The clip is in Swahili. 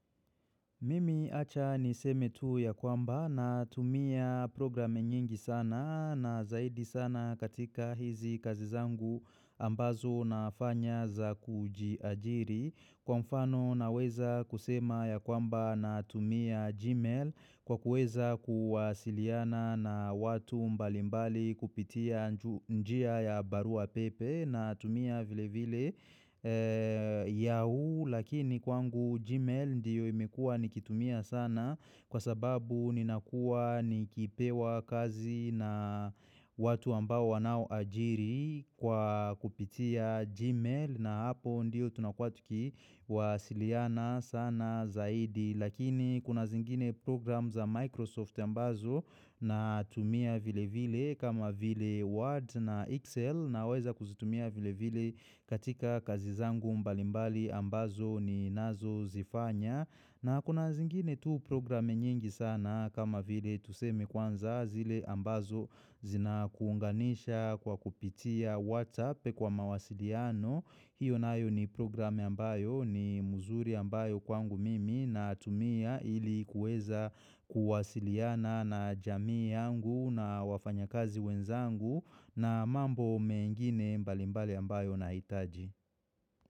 Mimi acha niseme tu ya kwamba natumia program nyingi sana na zaidi sana katika hizi kazi zangu ambazo nafanya za kujiajiri. Kwa mfano naweza kusema ya kwamba natumia gmail kwa kuweza kuwasiliana na watu mbalimbali kupitia njia ya barua pepe natumia vile vile yahoo. Lakini kwangu Gmail ndiyo imekuwa nikitumia sana kwa sababu ninakuwa nikipewa kazi na watu ambao wanaoajiri kwa kupitia Gmail na hapo ndiyo tunakua tukiwasiliana sana zaidi. Lakini kuna zingine program za Microsoft ambazo natumia vile vile kama vile Word na Excel naweza kuzitumia vile vile katika kazi zangu mbalimbali ambazo ninazo zifanya. Na kuna zingine tu programe nyingi sana kama vile tuseme kwanza zile ambazo zinakuunganisha kwa kupitia whatsap kwa mawasiliano. Hiyo nayo ni programe ambayo ni muzuri ambayo kwangu mimi natumia ili kuweza kuwasiliana na jamii yangu na wafanyakazi wenzangu na mambo mengine mbalimbali ambayo nahitaji.